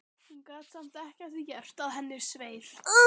Hún gat samt ekki að því gert að henni sveið.